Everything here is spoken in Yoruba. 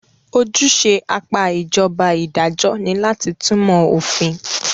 Ojúṣe apá ìjọba idajọ́ ní láti túnmọ̀ òfin.